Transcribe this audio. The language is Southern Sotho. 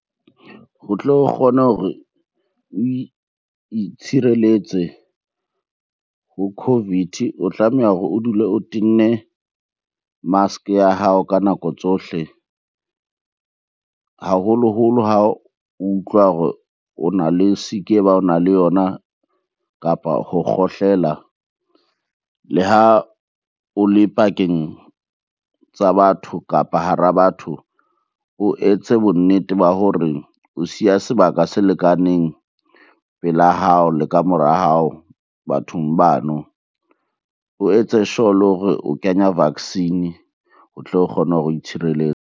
Ho tlo kgone hore oe itshireletse ho COVID, o tlameha hore o dule o tenne mask-e ya hao ka nako tsohle haholoholo ha o utlwa hore o na le sick-i e bang o na le yona, kapa ho kgohlela. Le ha o le pakeng tsa batho, kapa hara batho o etse bonnete ba hore o siya sebaka se lekaneng pela hao le ka mora hao bathong bano. O etse sure le hore o kenya vaccine o tlo kgone itshireletse.